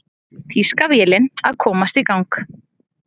Þýska vélin að komast í gang